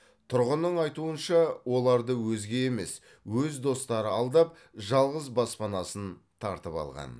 тұрғынның айтуынша оларды өзге емес өз достары алдап жалғыз баспанасын тартып алған